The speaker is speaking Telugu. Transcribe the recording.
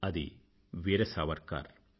అది వీర సావర్కర్